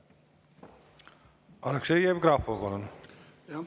Aleksei Jevgrafov, palun!